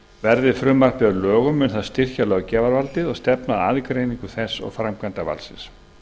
verði frumvarpið að lögum mun það styrkja löggjafarvaldið og stefna að aðgreiningu þess og framkvæmdarvaldsins